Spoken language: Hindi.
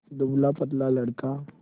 दुबलापतला लड़का